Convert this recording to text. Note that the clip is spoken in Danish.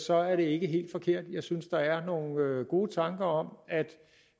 så er det ikke helt forkert jeg synes der er nogle gode tanker om at